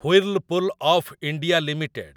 Whirlpool of India limited